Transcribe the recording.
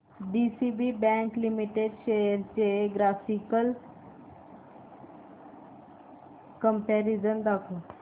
DCB bank limited shares चे graphical comparison दाखव